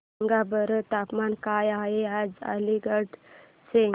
सांगा बरं तापमान काय आहे आज अलिगढ चे